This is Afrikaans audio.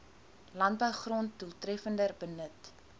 landbougrond doeltreffender benut